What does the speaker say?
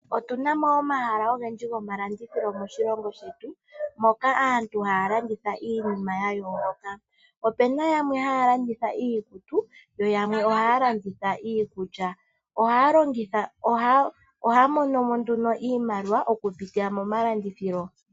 Otuna mo omahala ogendji gomalandithilo moshilongo shetu moka aantu haya landitha iinima ya yooloka. Opena yamwe haya landitha iikutu yo yamwe ohaya landitha iikulya. Ohaya mono iimaliwa okupitila momalandithilo.